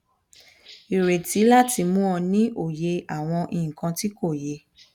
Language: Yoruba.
ireti lati mu o ni oye awon ikan ti ko ye